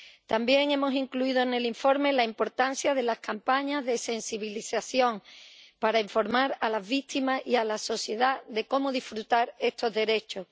También hemos incluido en el informe la importancia de las campañas de sensibilización para informar a las víctimas y a la sociedad de cómo disfrutar de estos derechos.